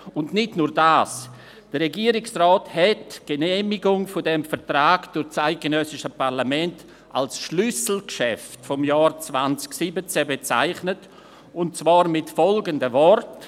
Und nicht nur das: Der Regierungsrat hat die Genehmigung dieses Vertrags durch das eidgenössische Parlament als «Schlüsselgeschäft» des Jahres 2017 bezeichnet, und zwar mit folgenden Worten: